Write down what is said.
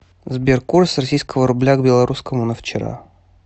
сбер курс российского рубля к белорусскому на вчера